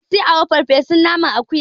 Isi ewu farfesun naman akuya ne